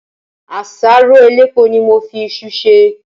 Àsáró elépo ni mo fi isu sè.